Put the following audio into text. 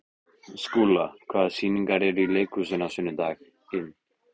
Skúla, hvaða sýningar eru í leikhúsinu á sunnudaginn?